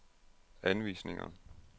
anvisninger